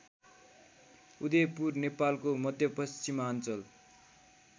उदयपुर नेपालको मध्यपश्चिमाञ्चल